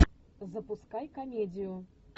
запускай комедию